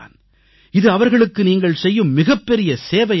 இது அவர்களுக்கு நீங்கள் செய்யும் மிகப்பெரிய சேவையாக இருக்கும்